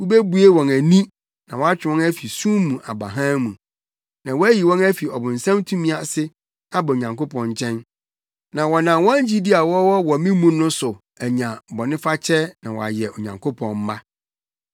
Wubebue wɔn ani na woatwe wɔn afi sum mu aba hann mu, na woayi wɔn afi ɔbonsam tumi ase aba Onyankopɔn nkyɛn. Na wɔnam wɔn gyidi a wɔwɔ wɔ me mu no so anya bɔnefakyɛ na wɔayɛ Onyankopɔn mma.’